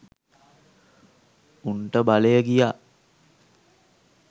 උන්ට බලය ගියා